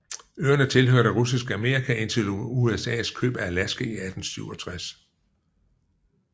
Øerne tilhørte Russisk Amerika indtil USAs køb af Alaska i 1867